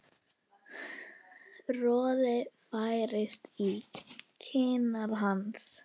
Roði færist í kinnar hans.